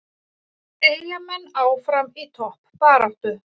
Eyjamenn áfram í toppbaráttu